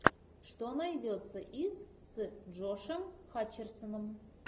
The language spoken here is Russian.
что найдется из с джошем хатчерсоном